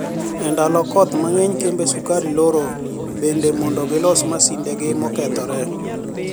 E nidalo kotho manigeniy kembe sukari loro benide monido gilos mashinide gi mokethore.